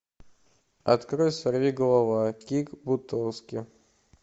открой сорвиголова кик бутовски